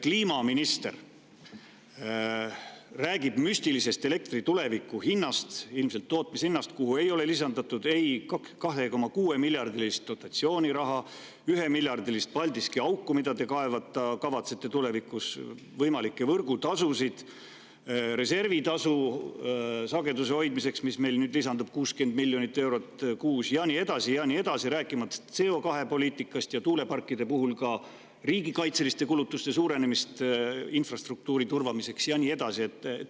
Kliimaminister räägib müstilisest elektri tulevikuhinnast, ilmselt tootmishinnast, kuhu ei ole lisatud ei 2,6 miljardit dotatsiooniraha, 1 miljard Paldiski auku, mida te kavatsete tulevikus kaevata, võimalikke võrgutasusid ega reservitasu sageduse hoidmiseks, mis nüüd lisandub ja mis on 60 miljonit eurot kuus, ja nii edasi ja nii edasi, rääkimata CO2‑poliitikast ja tuuleparkide puhul ka infrastruktuuri turvamiseks riigikaitseliste kulutuste suurenemisest.